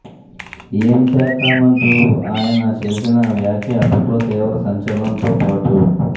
ఏం సేత్తామంటూ ఆయన చేసిన వ్యాఖ్య అప్పట్లో తీవ్ర సంచలనంతో పాటు